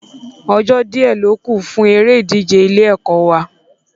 Ọjó díẹ̀ ló kù fún eré ìdíje ilé-ẹ̀kọ́ wa